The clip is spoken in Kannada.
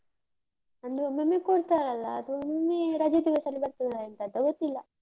ಅಂದ್ರೆ ಒಮ್ಮೊಮ್ಮೆ ಕೊಡ್ತಾರಲ್ಲ, ಅದು ಒಮ್ಮೊಮ್ಮೆ ರಜೆ ದಿವಸದಲ್ಲಿ ಬರ್ತದ ಎಂತಂತ ಗೊತ್ತಿಲ್ಲ.